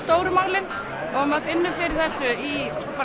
stóru málin maður finnur fyrir þessu í